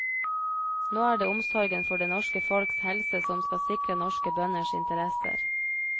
Nå er det omsorgen for det norske folks helse som skal sikre norske bønders interesser.